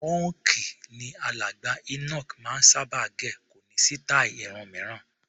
Pọ́ǹkì ni alàgbà Enoch máa ń sábà gẹ̀, kò ní sítáì irun mìíràn.